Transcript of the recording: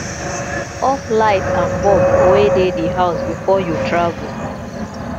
off light and bulb wey dey di house before you travel